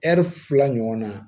fila ɲɔgɔnna